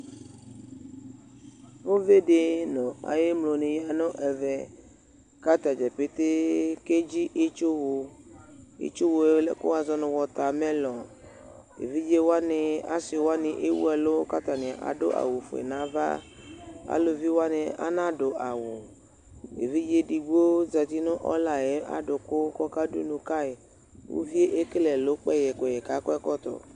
Uvi dɩ nʋ ayʋ emlo nɩ ya nʋ ɛvɛ, kʋ atadza petee ake dzɩ itsuwʋ, itsuwv ye kʋ wʋazɔ nʋ wɔtamelɔŋ Evidze wanɩ, asɩ wanɩ ewʋ ɛlʋ kʋ ata nɩ adʋ awʋfue nʋ ava Alʋvi wanɩ ana dʋ awʋ Evidze edigbo zǝtɩ nʋ ɔla ayʋ adʋkʋ, kʋ ɔka dunu kayɩ Uvi yɛ ekele ɛlʋ kpɛyɛ kpɛyɛ, kʋ akɔ ɛkɔtɔ